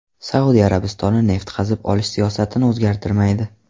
Saudiya Arabistoni neft qazib olish siyosatini o‘zgartirmaydi.